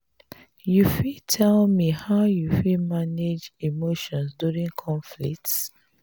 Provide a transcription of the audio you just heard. you fit tell me how you fit manage emotions during conflicts?